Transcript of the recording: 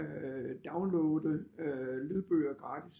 Øh downloade øh lydbøger gratis